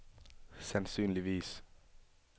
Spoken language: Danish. sandsynligvis